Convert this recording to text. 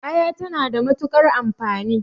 Aya ta na da matuƙar amfani